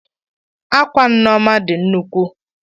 Akwa Nneoma di nnukwu.